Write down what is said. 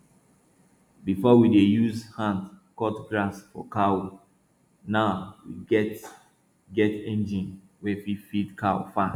before we dey use hand cut grass for cow now we get get engine wey fit feed cows fast